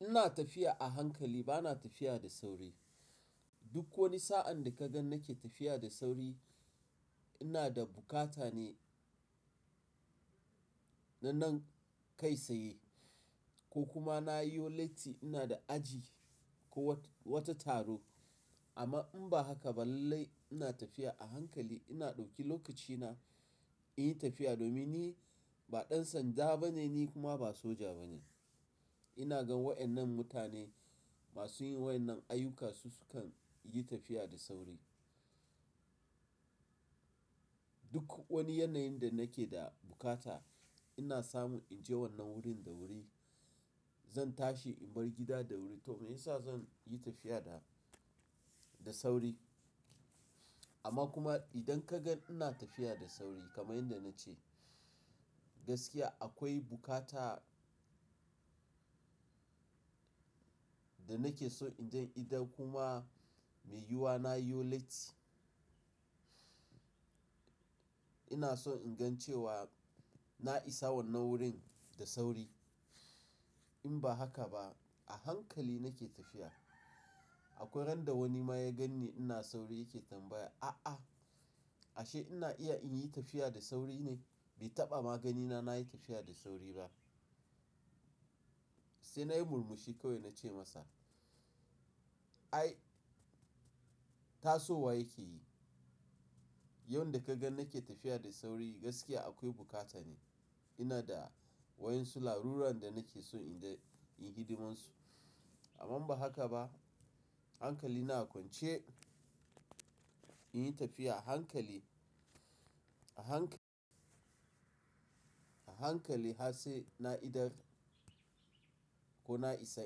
Ina tafiya a hankali bana tafiya da sauri. Duk wani sa'an da ka gan nake tafiya da sauri, ina da buƙata ne na nan kai saye ko kuma na yo latti ina da aji ko wat-wata taro. Amma in ba haka ba lallai ina tafiya a hankali ina ɗauki lokacina in yi tafiya domin ni ba ɗan sanda bane ni kuma ba soja bane. Ina gan waɗannan mutane masu yin waɗannan ayyuka su sukan yi tafiya da sauri. Duk wani yanayin da nake da bukata ina samun in je wannan wurin da wuri, zan tashi in bar gida da wuri to me yasa zan yi tafiya da, da sauri? Amma kuma idan ka gan ina tafiya da sauri kamar yadda na ce, gaskiya akwai buƙata da nake so in je idan kuma mai yiyuwa na yo lati, ina so in gan cewa na isa wannan wurin da sauri. In ba haka ba a hankali nake tafiya. Akwai ran da wani ma ya gan ni ina sauri yake tambaya, "A'a! Ashe ina iya in yi tafiya da sauri ne?" Bai taɓa ma ganina na yi tafiya da sauri ba. Sai nayi murmushi kawai na ce masa, "Ai! Tasowa yake yi. Yan da ka gan nake tafiya da sauri gaskiya akwai bukata ne. Ina da wa'yan su larurar da nake so in je in hiɗimansu." Amma in ba haka ba, hankali na akwance in yi tafiya a hankali, a hankali, a hankali har sai na idar ko na isa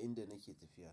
inda nake tafiya.